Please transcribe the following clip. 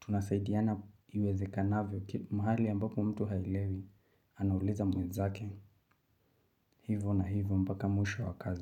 tunasaidiana iwezekanavyo, mahali ambako mtu haelewi, anauliza mwenzake, hivyo na hivyo mpaka mwisho wa kazi.